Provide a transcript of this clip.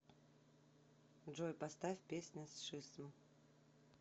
джой поставь песня сшисм